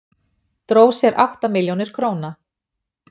Dró sér átta milljónir króna